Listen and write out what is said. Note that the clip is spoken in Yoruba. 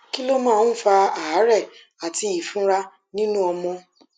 kí ló máa ń fa àárè àti ìfunra nínú ọmọ